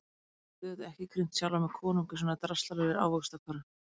Ég get auðvitað ekki krýnt sjálfan mig konung í svona draslaralegri ávaxtkörfu.